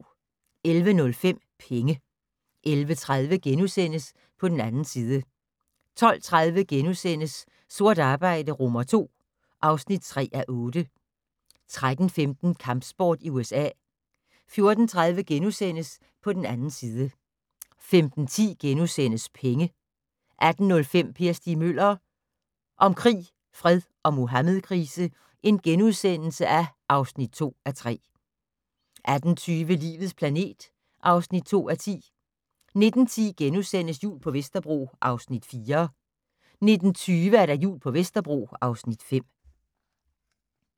11:05: Penge 11:30: På den 2. side * 12:30: Sort arbejde II (3:8)* 13:15: Kampsport i USA 14:30: På den 2. side * 15:10: Penge * 18:05: Per Stig Møller - om krig, fred og Muhammedkrise (2:3)* 18:20: Livets planet (2:10) 19:10: Jul på Vesterbro (Afs. 4)* 19:20: Jul på Vesterbro (Afs. 5)